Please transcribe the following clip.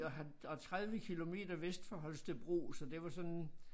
Og ja og 30 kilometer vest for Holstebro så det var sådan